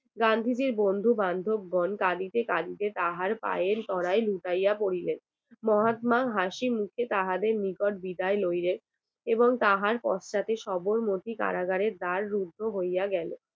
গান্ধীজীর বন্ধুবান্ধব গন কাঁদিতে কাঁদিতে তাহার পায়ের তলায় লুটাইয়া পড়লেন মহাত্মা হাসি মুখে তাহাদের নিকট বিদায় লইলেন এবং তাহার পথটাতে সবরমতি কারাগারের দার রুদ্ধ হইয়া গেল